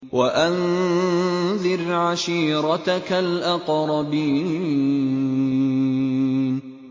وَأَنذِرْ عَشِيرَتَكَ الْأَقْرَبِينَ